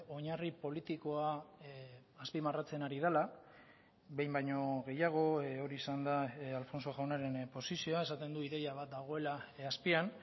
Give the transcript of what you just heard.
oinarri politikoa azpimarratzen ari dela behin baino gehiago hori izan da alfonso jaunaren posizioa esaten du ideia bat dagoela azpian